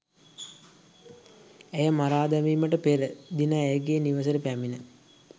ඇය මරා දැමිමට පෙර දින ඇගේ නිවසට පැමිණ